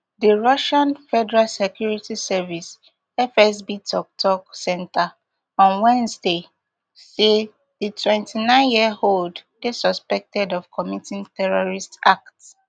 di russian federal security service fsb toktok centre on wednesday say di twenty-nineyearold dey suspected of committing terrorist act